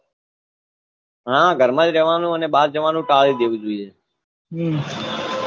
હા ઘર માં જ રહવાનું અને બાર જવાનું ટાળી જ દેવું જોઈએ હમ